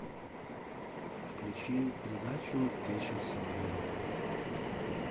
включи передачу вечер с соловьевым